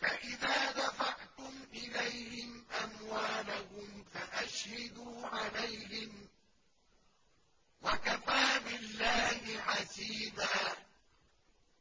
فَإِذَا دَفَعْتُمْ إِلَيْهِمْ أَمْوَالَهُمْ فَأَشْهِدُوا عَلَيْهِمْ ۚ وَكَفَىٰ بِاللَّهِ حَسِيبًا